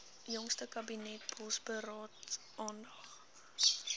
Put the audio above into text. jongste kabinetsbosberaad aandag